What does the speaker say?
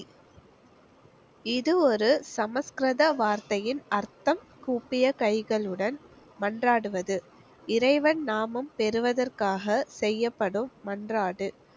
இது ஒரு சமஸ்கிருத வார்த்தையின் அர்த்தம் கூப்பிய கைகளுடன் மன்றாடுவது. இறைவன் நாமம் பெறுவதற்காக செய்யப்படும் மன்றாடு.